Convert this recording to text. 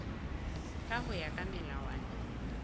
ka ho ya ka melawana